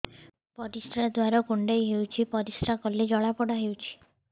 ପରିଶ୍ରା ଦ୍ୱାର କୁଣ୍ଡେଇ ହେଉଚି ପରିଶ୍ରା କଲେ ଜଳାପୋଡା ହେଉଛି